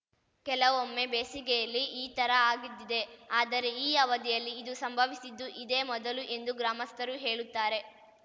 ಕೆಲವೊಮ್ಮೆ ಬೇಸಿಗೆಯಲ್ಲಿ ಈ ಥರ ಆಗಿದ್ದಿದೆ ಆದರೆ ಈ ಅವಧಿಯಲ್ಲಿ ಇದು ಸಂಭವಿಸಿದ್ದು ಇದೇ ಮೊದಲು ಎಂದು ಗ್ರಾಮಸ್ಥರು ಹೇಳುತ್ತಾರೆ